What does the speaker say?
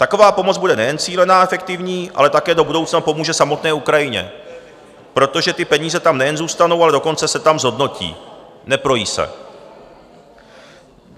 Taková pomoc bude nejen cílená a efektivní, ale také do budoucna pomůže samotné Ukrajině, protože ty peníze tam nejen zůstanou, ale dokonce se tam zhodnotí, neprojí se.